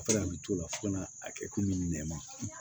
fo ka na a kɛ komi nɛma